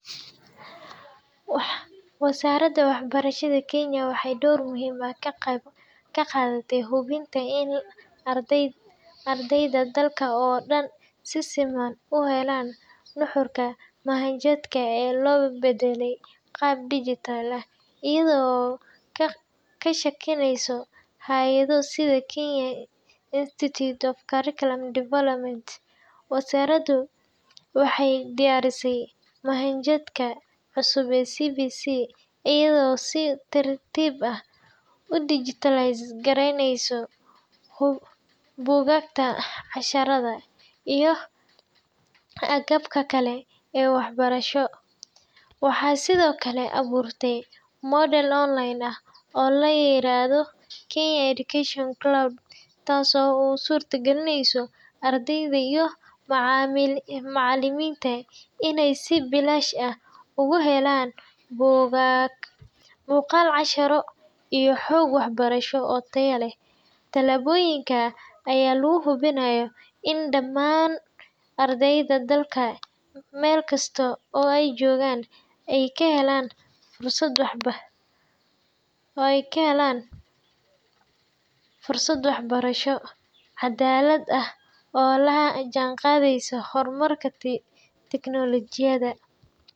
Wasaaradda Waxbarashada Kenya waxay door muhiim ah ka qaadataa hubinta in ardayda dalka oo dhan si siman u helaan nuxurka manhajka ee loo beddelay qaab dijitaal ah. Iyada oo kaashanaysa hay’ado sida Kenya Institute of Curriculum Development (KICD), wasaaraddu waxay diyaarisay manhajka cusub ee CBC iyada oo si tartiib ah u digitize-gareyneysa buugaagta, casharrada, iyo agabka kale ee waxbarasho. Waxay sidoo kale abuurtay madal online ah oo la yiraahdo Kenya Education Cloud, taasoo u suurtagelisa ardayda iyo macallimiinta inay si bilaash ah uga helaan buugaag, muuqaal-casharro, iyo xog waxbarasho oo tayo leh. Tallaabooyinkan ayaa lagu hubinayaa in dhammaan ardayda dalka, meel kasta oo ay joogaan, ay helaan fursad waxbarasho oo cadaalad ah oo la jaanqaadaysa horumarka tignoolajiyada.